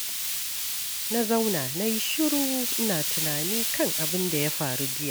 Na zauna na yi shiru, ina tunani kan abin da ya faru jiya.